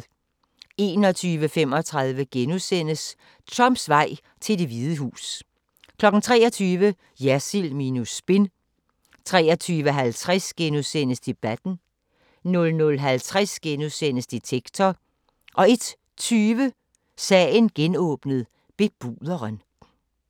21:35: Trumps vej til Det Hvide Hus * 23:00: Jersild minus spin 23:50: Debatten * 00:50: Detektor * 01:20: Sagen genåbnet: Bebuderen